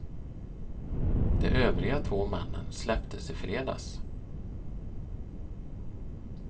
De övriga två männen släpptes i fredags.